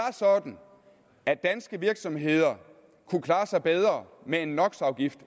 sådan at danske virksomheder kunne klare sig bedre med